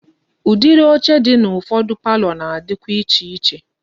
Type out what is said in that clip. Udiri oche di na ufodu palọ na-adikwa iche iche.